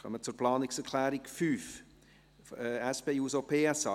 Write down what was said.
Wir kommen zur Planungserklärung 5, SP-JUSO-PSA: